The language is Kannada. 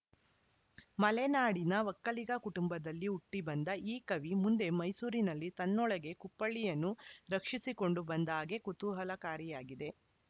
ಮಲೆನಾಡಿನ ಒಕ್ಕಲಿಗ ಕುಟುಂಬದಲ್ಲಿ ಹುಟ್ಟಿಬಂದ ಈ ಕವಿ ಮುಂದೆ ಮೈಸೂರಿನಲ್ಲಿ ತನ್ನೊಳಗೇ ಕುಪ್ಪಳಿಯನ್ನು ರಕ್ಷಿಸಿಕೊಂಡು ಬಂದ ಬಗೆ ಕುತೂಹಲಕಾರಿಯಾಗಿದೆ